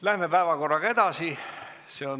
Läheme edasi.